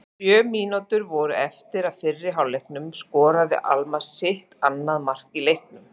Þegar sjö mínútur voru eftir af fyrri hálfleiknum skoraði Almarr sitt annað mark í leiknum.